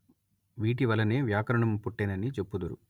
వీటివలనే వ్యాకరణము పుట్టెనని చెప్పుదురు